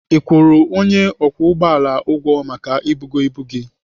Ị kwụrụ ọnyà ụgbọala ụgwọ maka ibugo ibu gị?